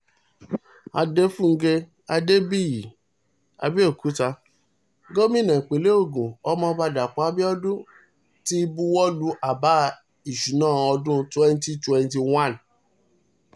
adéfúngẹ adébíyí àbẹ́òkúta gòmìnà ìpínlẹ̀ ogun ọmọọba dàpọ̀ abiodun ti buwọ́ lu àbá ìṣúná ọdún twenty twenty one